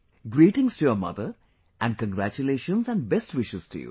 Greetings to your mother and congratulations and best wishes to you